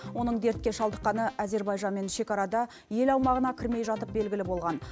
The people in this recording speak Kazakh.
оның дертке шалдыққаны әзербайжанмен шекарада ел аумағына кірмей жатып белгілі болған